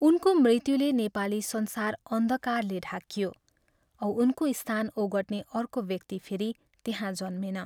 उनको मृत्युले नेपाली संसार अन्धकारले ढाकियो औ उनको स्थान ओगट्ने अर्को व्यक्ति फेरि त्यहाँ जन्मेन।